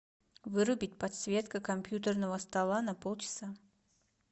вырубить подсветка компьютерного стола на полчаса